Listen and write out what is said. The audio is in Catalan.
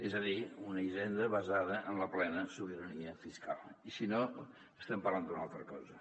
és a dir una hisenda basada en la plena sobi·rania fiscal si no estem parlant d’una altra cosa